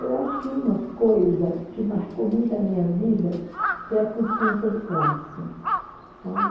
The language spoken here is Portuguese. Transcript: Eu acho que uma coisa que marcou muito a minha vida foi a consciência de classe, sabe?